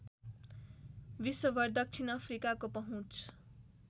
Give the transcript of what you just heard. विश्वभर दक्षिण अफ्रिकाको पहुँच